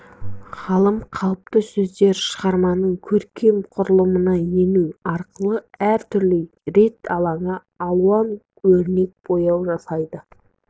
ғалым қалыпты сөздер шығарманың көркем құрылымына ену арқылы әр түрлі рең алады алуан өрнек бояу жасайды